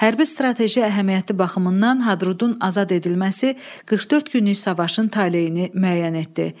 Hərbi strateji əhəmiyyətli baxımından Hadrutun azad edilməsi 44 günlük savaşın taleyini müəyyən etdi.